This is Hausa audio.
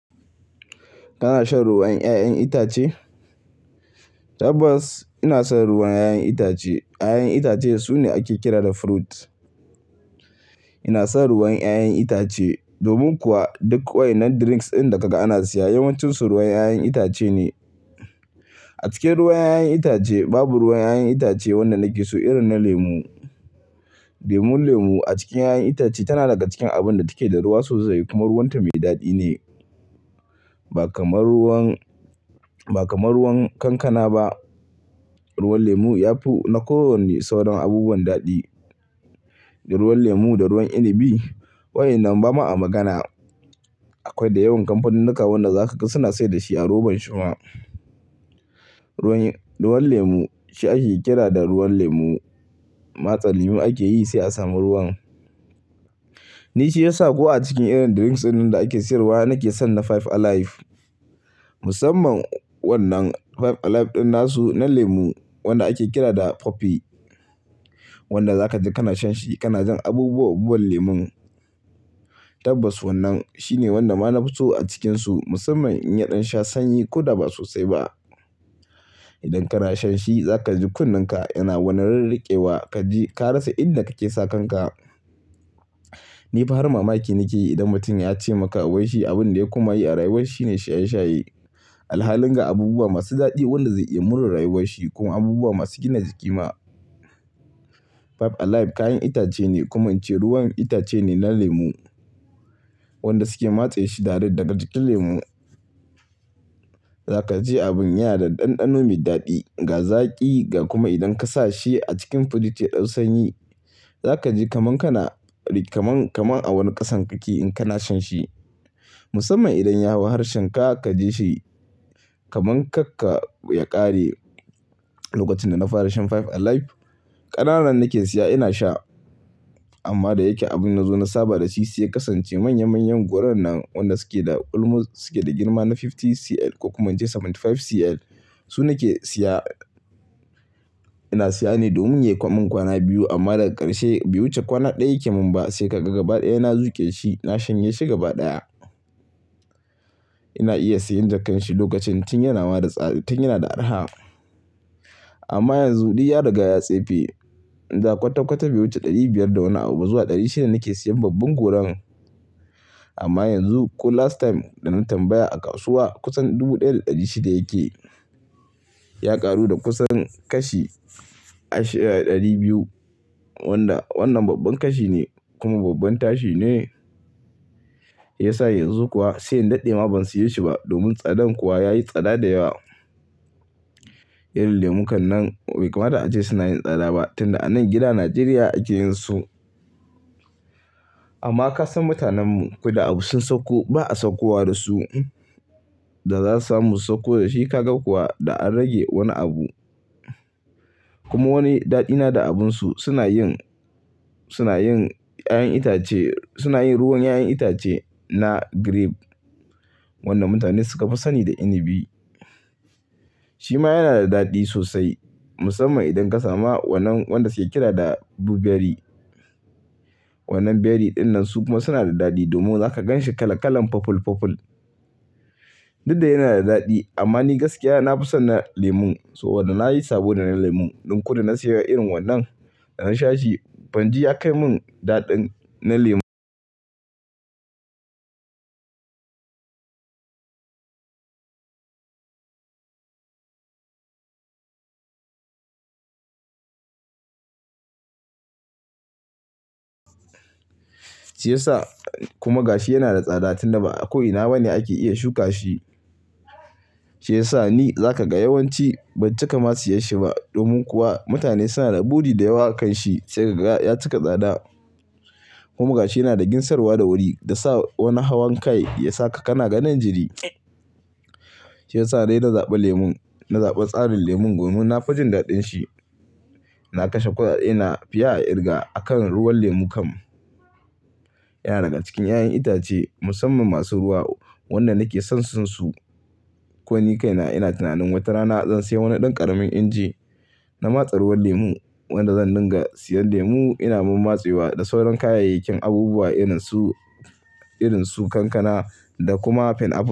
Kana shan ruwan 'ya'yan itace? Tabbas ina son ruwan 'ya'yan itace. 'Ya'yan itace sune ake kira da fruit. Ina son ruwan 'ya'yan itace. Domin kuwa duk ƙwai na drinks ɗin da kaga ana siya yawancinsu ruwan 'ya'yan itace ne. A cikin ruwan 'ya'yan itace babu ruwan 'ya'yan itace wanda nake so irin na lemu. Lemun lemu a cikin 'ya'yan itace tana daga cikin abun da take da ruwa sosai kuma ruwan ta mai daɗi ne. Ba kamar ruwan, ba kamar ruwan kankana ba. Ruwan lemu yafi na kowanne sauran abubuwan daɗi, da ruwan lemu da ruwa inibi. Wayannan Bama a magana. Akwai da yawan kamfanin nika wanda za ka ga suna saida shi a roban shi ma. Ruwan, ruwan lemu shi ake kira da ruwan lemu. Matsa lemu ake yi sai a samu ruwan. Ni shi ya sa ko a cikin irin drinks ɗin da ake siyarwa nake son na Five Alive. Musamman wannan Five Alive ɗin nasu na lemu wanda ake kira da poppy. Wanda zaka ji kana shan shi kana jin abubuwa abubuwan lemon. Tabbas wannan shine wanda ma na fi so a cikinsu musamman in yaɗan sha sanyi ko da ba sosai ba. Idan kana shan shi zaka ji kunne ka yana wani rarriƙewa kaji ka rasa inda kake sakan ka. Ni fa har mamaki nake yi idan mutum ya ce maka wai shi abin da ya koma yi a rayuwar shi ne shaye-shaye. Alhalin ga abubuwa masu daɗi waɗanda zai iya mure rayuwar shi kuma abubuwa masu gina jiki ma. Five Alive kayan itace ne kuma in ce ruwan itace ne na lemu. Wanda suke matse shi da daret daga jikin lemu. Za ka ji abin yana da ɗanɗano mai daɗi, ga zaƙi ga kuma idan ka sa shi a cikin firij ya dau sanyi. Zaka ji kaman kana, kaman, kaman a wani ƙasan kake in kana shan shi. Musamman idan ya hau harshen ka kaji shi kaman karka ya ƙare. Lokacin da na fara shan Five Alive ƙanana nake siya ina sha. Amma da yake abun nazo na saba da shi sai ya kasance manya manyan goron nan wanda suke da almost suke da girma na fifty cl ko kuma in ce seventy five cl su nake siya. Ina siya ne domin yi wa ƙwan ƙwana biyu amma daga ƙarshe bai wuce kwana ɗaya yake mun ba sai kaga gaba ɗaya na zuƙe shi na shanye shi gaba ɗaya. Ina iya siyan da kanshi lokacin tun yana ma da tsada tun yana da araha. Amma yanzu buri ya riga ya tsefe. Da kwata-kwata bai wuce ɗari biyar da wani abu ba zuwa ɗari shida nake siyan babban goron. Amma yanzu ko last time da na tambaya a kasuwa kusan dubu ɗaya da ɗari shida yake. Ya ƙaru da kusan kashi 200, wanda wannan babban kashi ne, kuma babban tashi ne. Ya sa yanzu kuwa sai in daɗe ma ban siyo shi ba domin tsadan kuwa yayi tsada da yawa. Irin lemu kan nan bai kamata ace suna yin tsada ba tun da anan gida Najeriya ake yin su. Amma ka san mutanen mu ko da abu sun sauko ba a saukowa da su. Da za su samu su sauko da shi ka ga kuwa da an rage wani abu. Kuma wani daɗi na da abunsu suna yin, suna yin 'ya'yan itace, suna yin ruwan 'ya'yan itace na grape. Wannan mutane suka fi sani da inibi. Shi ma yana da daɗi sosai musamman idan ka samu wannan wanda suke kira da blueberry. Wannan berry ɗin nan su kuma suna da daɗi domin za ka gan shi kalan kalan purple purple. Duk da yana da daɗi amma ni gaskiya na fi son na lemon so wanda na yi sabo da na lemon. Ɗin ko da na siya irin wannan da na sha shi banji ya kai mun daɗin na lemon. Shi ya sa kuma ga shi yana da tsada tun da ba ko'ina ba ne ake iya shuka shi. Shi yasa ni zakaga yawanci ban cika ma siyansa ba, domin kuwa mutane suna da buri da yawa akansa, sai kaga ya cika tsada--, kuma gashi yana da ginsarwa da wuri da sa wani hawan kai, yasa ka kana ganin jiri---. Shi ya sa dai na zaɓi lemon. Na zaɓi tsarin lemon domin na fi jin daɗin shi. Na kashe kuɗaɗena fiye a kirga a kan ruwan lemu kan. Yana daga cikin 'ya'yan itace musamman masu ruwa. Wanda nake son son su. Ko ni kaina ina tunanin wata rana zan siya wani ɗan ƙaramin inji na matsa ruwan lemu wanda zan dinga siya lemu ina mun matse wa da sauran kayayyakin abubuwa irin su, irin su kankana da kuma pineapple.